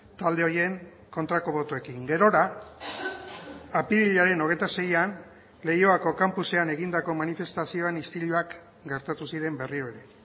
talde horien kontrako botoekin gerora apirilaren hogeita seian leioako kanpusean egindako manifestazioan istiluak gertatu ziren berriro ere